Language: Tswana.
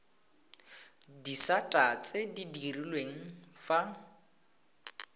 disata tse di direlwang fa